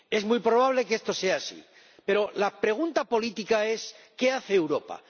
Es muy probable que esto sea así, pero la pregunta política es ¿qué hace Europa?